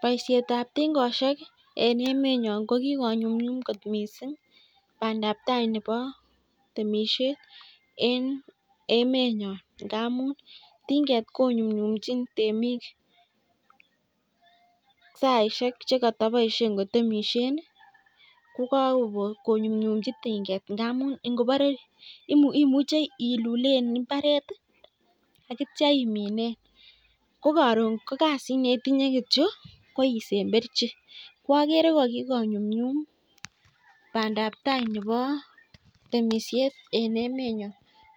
Baishet ab tingoshek eng emet nyoo ko kikonyumnyum bandai tai neboo temishet eng emet nyoo amuu inyumnyumnjin tinget saishek cheboo